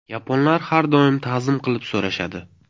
Yaponlar har doim ta’zim qilib so‘rashadi.